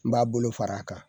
N b'a bolo fara a kan.